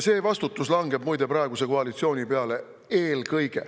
See vastutus langeb, muide, eelkõige praeguse koalitsiooni peale.